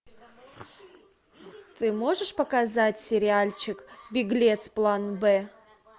ты можешь показать сериальчик беглец план б